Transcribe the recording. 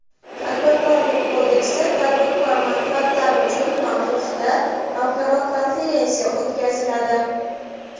"Tadbirkorlik kodeksi" – tadbirkor manfaatlari uchun" mavzusida xalqaro konferensiya o‘tkaziladi.